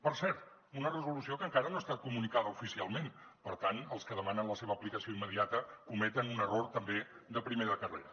per cert una resolució que encara no ha estat comunicada oficialment per tant els que demanen la seva aplicació immediata cometen un error també de primer de carrera